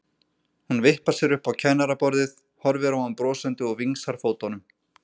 Hún vippar sér upp á kennaraborðið, horfir á hann brosandi og vingsar fótunum.